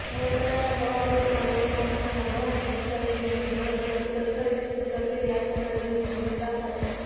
વડોદરાના નવાપુરામાં લોન આપવાના બહાને દસ્તાવેજ મેળવી બરોબર સ્કૂટર ખરીદી છેતરપિંડી આચરનાર વિરુદ્ધ ગુનો દાખલ